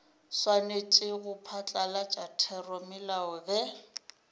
swanetše go phatlalatša theramelao ge